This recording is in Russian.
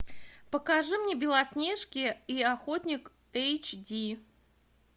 покажи мне белоснежки и охотник эйч ди